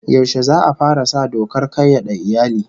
Yaushe za'a fara sa dokar kayyade iyali?